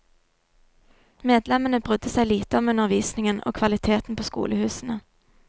Medlemmene brydde seg lite om undervisningen og kvaliteten på skolehusene.